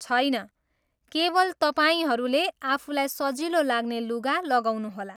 छैन, केवल तपाईँहरूले आफूलाई सजिलो लाग्ने लुगा लगाउनुहोला!